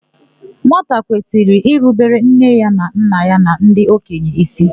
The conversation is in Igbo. Nwata kwesịrị irubere nne na nna ya na ndị okenye ísí.